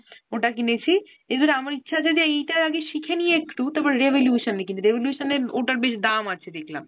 ওটা কিনেছি। is it আমার ইচ্ছা আছে যে এইটায় আগে শিখে নিয়ে একটু তারপর Revolution এর কিনবো। Revolution এর ওটার বেশ দাম আছে দেখলাম।